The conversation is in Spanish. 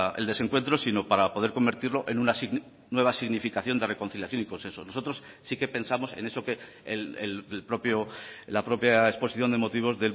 el desencuentro sino para poder convertirlo en una nueva significación de reconciliación y consenso nosotros sí que pensamos en eso que el propio la propia exposición de motivos